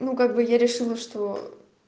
ну как бы я решила что